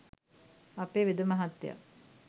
අපේ වෙද මහත්තයා..